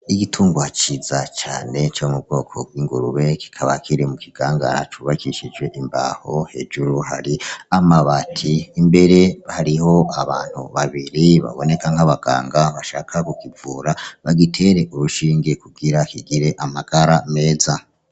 Igitungwa ciza cane co mubwoko bw'ingurube, kikaba Kiri mukigangara cubakishijwe imbaho, hejuru hari amabati. Mbere hariho abantu babiri baboneka nk'abaganga bashaka kukivura, bagitere urushinge kugira kigire amagara meza.